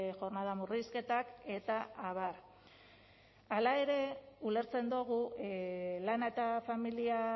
jornada murrizketak eta abar hala ere ulertzen dugu lana eta familia